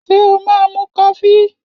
Ṣé o máa mu kofí?